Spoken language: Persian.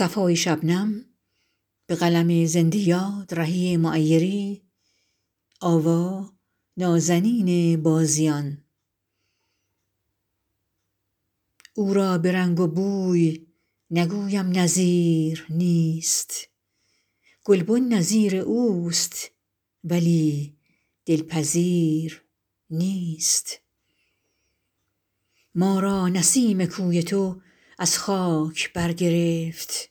او را به رنگ و بوی نگویم نظیر نیست گلبن نظیر اوست ولی دل پذیر نیست ما را نسیم کوی تو از خاک بر گرفت